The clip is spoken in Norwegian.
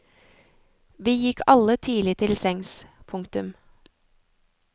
Vi gikk alle tidlig til sengs. punktum